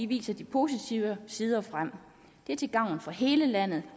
vise de positive sider frem det er til gavn for hele landet